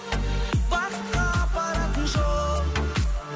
бақытқа апаратын жол